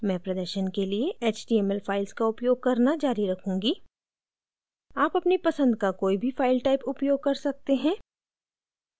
मैं प्रदर्शन के लिए html files का उपयोग करना जारी रखूँगी आप अपनी पसंद की कोई भी फाइल type उपयोग कर सकते हैं